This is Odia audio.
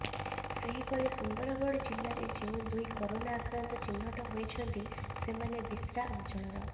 ସେହିପରି ସୁନ୍ଦରଗଡ଼ ଜିଲ୍ଲାରେ ଯେଉଁ ଦୁଇ କରୋନା ଆକ୍ରାନ୍ତ ଚିହ୍ନଟ ହୋଇଛନ୍ତି ସେମାନେ ବିଶ୍ରା ଅଞ୍ଚଳର